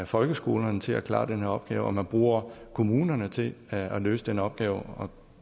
folkeskolerne til at klare den her opgave og at man bruger kommunerne til at løse den opgave